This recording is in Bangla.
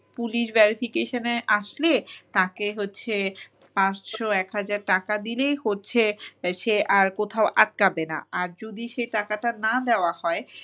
police verification -এ আসলে তাকে হচ্ছে পাঁচশো এক হাজার টাকা দিলেই হচ্ছে সে আর কোথাও আটকাবে না আর যদি সে টাকাটা না দেওয়া হয়